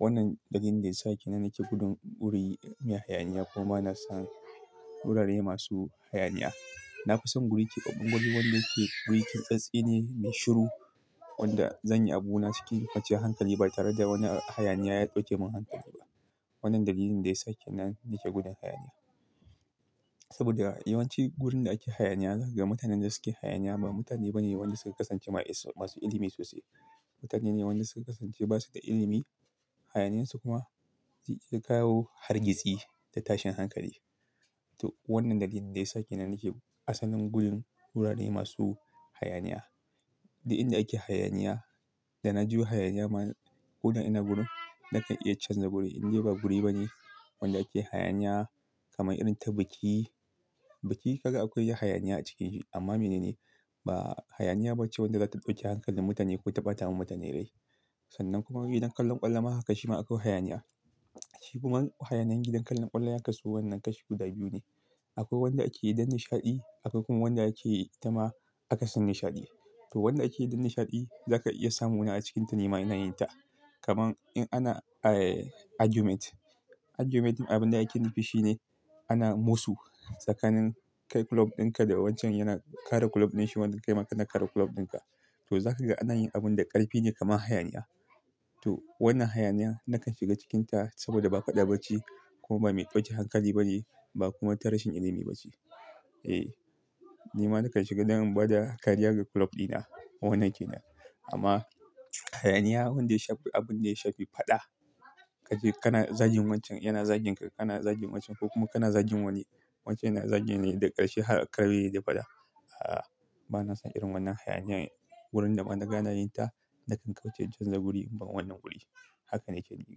Wannan dalilin da ya sake na nake gudun guri me hayaniya kuma bana son wurare masu hayaniya. Na fi son guri keɓaɓɓen guri wanda yake guri keɓaɓɓe ne, me shiru wanda zan yi abu na cikin kwanciyar hankali ba tare da wani hayaniya ya ɗauke mun hankali ba. Wannan dalilin da ya sake na nake gudun hayaniya. Saboda yawanci gurin da ake hayaniya zaka ga mutanen da suke hayaniya ba mutane bane wanda suka kasance masu ilimi sosai. Mutane ne wanda suka kasance ba su da ilimi, hayaniyansu kuma zai iya kawo hargitsi da tashin hankali. To wannan dalilin da ya sa kenan nake asalin gudun wurare masu hayaniya. Da inda ake hayaniya, da na ji wai hayaniya ma gudun ina gudu, na kan iya canza guri in dai ba guri bane wanda ake hayaniya kamar irin ta biki. Biki kaga akwai yi hayaniya a cikinsa amma mene ne, ba hayaniya bace wadda za ta ɗauke hankalin mutane ko ta bata wa mutane rai. Sannan kuma gidan kallon ƙwallo ma haka shi ma akwai hayaniya. Shi kuma hayaniyan gidan kallon ƙwallo ya kasu wannan kashi guda biyu ne. Akwai wanda ake yi don nishaɗi akwai kuma wanda ake yi ta ma akasin nishaɗi. To wanda ake yi don nishaɗi za ka iya samu na a cikinta nema ina yinta. Kaman in ana eh argument. Argument abin da ake nufi shine ana mosu tsakanin kai kulob dinka da wancan yana kare kulob din shi wanda kai ma kana kare kulob dinka. To za ka ga ana yin abun da ƙarfi ne kamar hayaniya. To wannan hayaniya na kan shiga cikinta saboda ba faɗa ba ce kuma ba mai ɗauke hankali bane ba kuma ta rashin ilimi ba ce. Eh, ni ma na kan shiga don in ba da kariyar ga kulob dina wannan ke na. Amma hayaniya wanda ya shafi abin da ya shafi faɗa, kaje kana zagin wancan yana zagin ka, kana zagin wancan ko kuma kana zagin wani. Wancan yana zagin ne da ƙarshi har a ƙare da faɗa. A'a, bana son irin wannan hayaniya wurin da ban da gane yinta na kan kauce canza guri ba wannan guri. Haka ne ke yi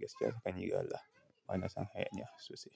gaskiya, haka ni ga Allah. Bana son hayaniya sosai.